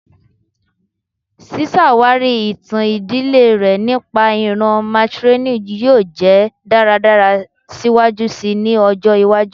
Ṣiṣawari itan idile rẹ nipa iran matrilineal yoo jẹ daradara siwaju sii ni ọjọ iwaju